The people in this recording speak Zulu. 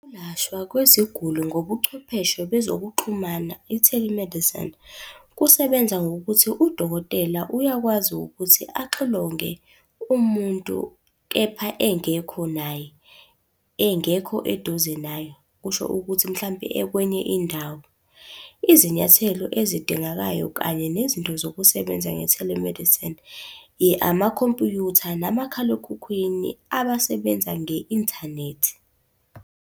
Ukwelashwa kweziguli ngobuchwepheshe bezokuxhumana i-telemedicine, kusebenza ngokuthi udokotela uyakwazi ukuthi axilonge umuntu, kepha engekho naye, engekho eduze naye. Kusho ukuthi mhlampe ekwenye indawo. Izinyathelo ezidingakayo kanye nezinto zokusebenza nge-telemedicine, amakhompuyutha nomakhalekhukhwini abasebenza nge-inthanethi.